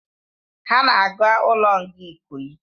Ha na aga ulo nga ikoyi